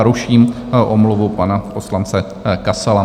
A ruším omluvu pana poslance Kasala.